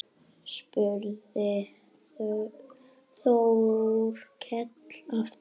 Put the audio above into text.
spurði Þórkell aftur.